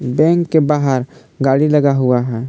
Bank के बाहर गाड़ी लगा हुआ हैं।